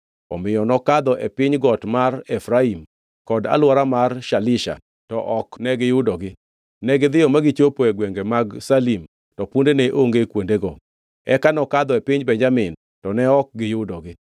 Omiyo nokadho e piny got mar Efraim kod alwora mar Shalisha, to ok ne giyudogi. Negidhiyo ma gichopo e gwenge mag Shaalim, to punde ne onge kuondego. Eka nokadho e piny Benjamin, to ne ok giyudogi.